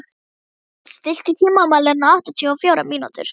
Sævald, stilltu tímamælinn á áttatíu og fjórar mínútur.